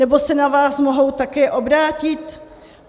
Nebo se na vás mohou také obrátit?